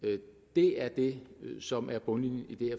det er det som er bundlinjen i det